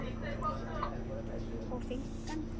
og finkan?